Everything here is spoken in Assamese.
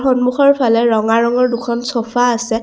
সন্মুখৰফালে ৰঙা ৰঙৰ দুখন ছ'ফা আছে।